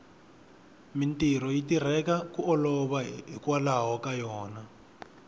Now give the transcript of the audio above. mintirho yi tirheka ku olova hikwalaho ka yona